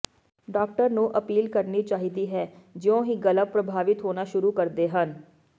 doctor ਨੂੰ appeal ਕਰਨੀ ਚਾਹੀਦੀ ਹੈ ਜਿਉਂ ਹੀ ਗਲਾ ਪ੍ਰਭਾਵਿਤ ਹੋਣਾ ਸ਼ੁਰੂ ਕਰਦੇ ਹਨ